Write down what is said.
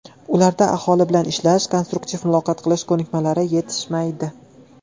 Ularda aholi bilan ishlash, konstruktiv muloqot qilish ko‘nikmalari yetishmaydi.